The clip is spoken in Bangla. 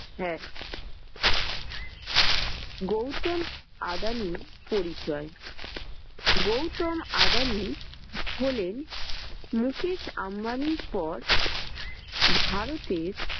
হ্যাঁ গৌতম আদানির পরিচয়, গৌতম আদানি হলেন মুখেশ আম্বানির পর ভারতের